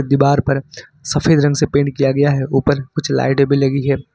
दीवार पर सफेद रंग से पेंट किया गया है ऊपर कुछ लाइड भी लगी हैं।